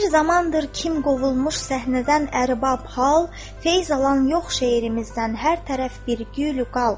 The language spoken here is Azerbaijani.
Bir zamandır kim qovulmuş səhnədən ərbab hal, feyz alan yox şeirimizdən hər tərəf bir gül qal.